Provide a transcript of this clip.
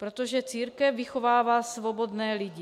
Protože církev vychovává svobodné lidi.